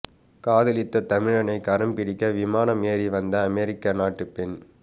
காதலித்த தமிழனை கரம் பிடிக்க விமானம் ஏறி வந்த அமெரிக்க நாட்டு பெண்